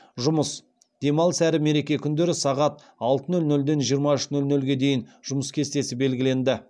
жұмыс демалыс әрі мереке күндері сағат алты нөл нөлден жиырма үш нөл нөлге дейін жұмыс кестесі белгіленді